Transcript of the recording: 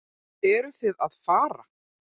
Eruð þið að fara?